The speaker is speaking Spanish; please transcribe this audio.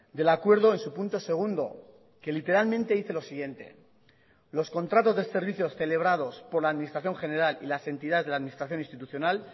del acuerdo en su punto segundo que literalmente dice lo siguiente los contratos de servicios celebrados por la administración general y las entidades de la administración institucional